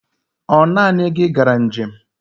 Ọ naanị gị gara njem?